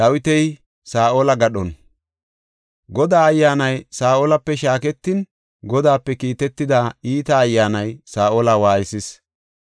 Godaa Ayyaanay Saa7olape shaaketin Godaape kiitetida iita ayyaanay Saa7ola waaysees.